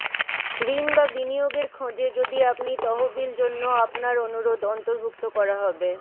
ঋণ বা বিনিয়োগের খোঁজে যদি আপনি তহবিল জন্য আপনার অনুরোধ অন্তর্ভুক্ত করা হবে